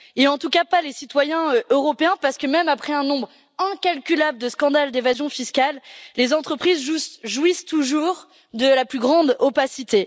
En tout cas, pas les citoyens européens parce que, même après un nombre incalculable de scandales d'évasion fiscale, les entreprises jouissent toujours de la plus grande opacité.